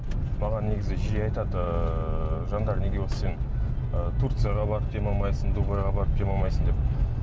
маған негізі жиі айтады ыыы жандар неге осы сен ы турцияға барып демалмайсың дубайға барып демалмайсың деп